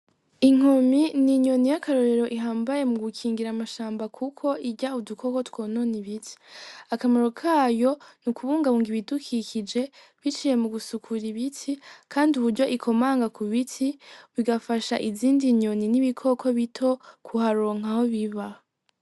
Inkomi ni inyoni y'akarorero ihambaye mu gukingira amashamba, kuko irya udukoko twononi ibiti akamaro kayo ni ukubungabunga ibidukikije biciye mu gusukura ibiti, kandi uburyo ikomanga ku biti bigafasha izindi nyoni n'ibikoko bito kuharonka aho biba.